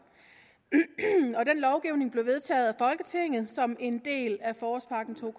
og den lovgivning blev vedtaget af folketinget som en del af forårspakke 20